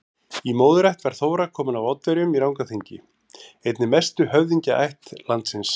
Í móðurætt var Þóra komin af Oddaverjum í Rangárþingi, einni mestu höfðingjaætt landsins.